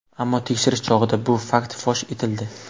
Ammo tekshirish chog‘ida bu fakt fosh etildi.